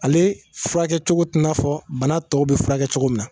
Ale furakɛcogo tɛ n'a fɔ bana tɔw bɛ furakɛ cogo min na.